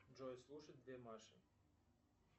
джой слушать две маши